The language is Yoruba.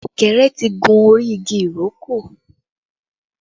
Ọ̀kẹ́rẹ́ tí gun orí igi ìrókò